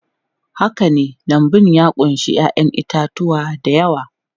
Haka ne, lambun ya ƙunshi 'ya'yan itatuwa da yawa.